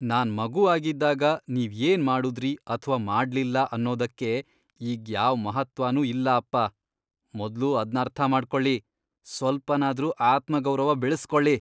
ನಾನ್ ಮಗು ಆಗಿದ್ದಾಗ ನೀವ್ ಏನ್ ಮಾಡುದ್ರಿ ಅಥ್ವಾ ಮಾಡ್ಲಿಲ್ಲ ಅನ್ನೋದಕ್ಕೆ ಈಗ್ ಯಾವ್ ಮಹತ್ತ್ವನೂ ಇಲ್ಲ ಅಪ್ಪ. ಮೊದ್ಲು ಅದ್ನರ್ಥ ಮಾಡ್ಕೊಳಿ, ಸ್ವಲ್ಪನಾದ್ರೂ ಆತ್ಮಗೌರವ ಬೆಳೆಸ್ಕೊಳಿ!